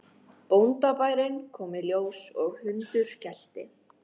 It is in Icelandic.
Bóndabærinn kom í ljós og hundur gelti.